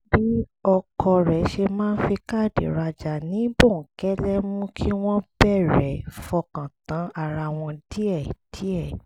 bí ọkọ rẹ̀ ṣe máa fi káàdì rajà ní bòókẹ́lẹ́ mú kí wọ́n bẹ̀rẹ̀ fọkàn tán ara wọn díẹ̀díẹ̀